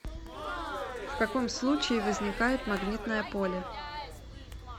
в каком случае возникает магнитное поле